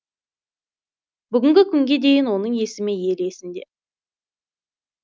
бүгінгі күнге дейін оның есімі ел есінде